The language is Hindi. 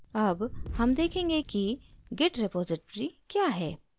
अब हम देखेंगे कि git repository क्या है